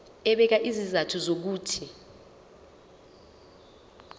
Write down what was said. ebeka izizathu zokuthi